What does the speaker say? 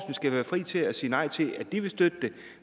skal være fri til at sige nej til at støtte det